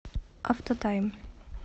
автотайм